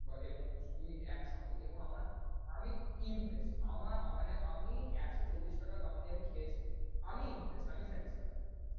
বা এবং squid একসঙ্গে এবং আমার, আমি impressed আমার আ~মানে আমি একশো চল্লিশ টাকা দাম দিয়ে আমি খেয়েছি, আমি impressed আমি satisfy ।